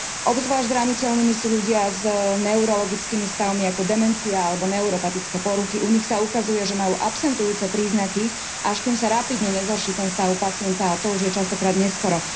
Obzvlášť zraniteľnými sú ľudia s neurologickými stavmi ako demencia alebo neuropatické poruchy. U nich sa ukazuje, že majú absentujúce príznaky, až kým sa rapídne nezhorší ten stav pacienta, a to už je častokrát neskoro.